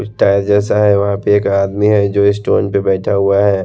Tyre जैसा है वहाँ पे एक आदमी है जो स्टोन पे बैठा हुआ है।